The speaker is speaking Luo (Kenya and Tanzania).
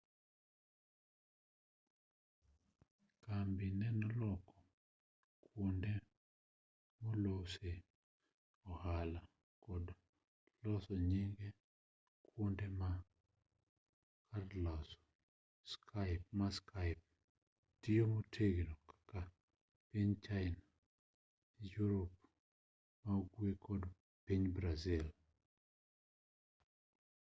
kambi geno loko kuonde molosee ohala kendo kod loso nyinge kuonde ma karloso ma skype tiyo motegno kaka piny china yurop ma-ugwe kod piny brazil